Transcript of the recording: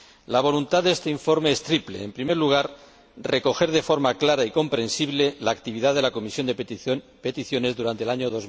La voluntad de este informe es triple en primer lugar, recoger de forma clara y comprensible la actividad de la Comisión de Peticiones durante el año